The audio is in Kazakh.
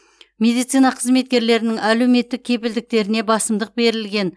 медицина қызметкерлерінің әлеуметтік кепілдіктеріне басымдық берілген